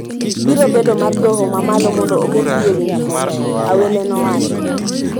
biro bedo mar Doho ma malo mondo oketgi e winjruok, Awele nowacho.